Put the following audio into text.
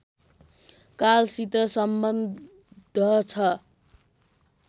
कालसित सम्बद्ध छ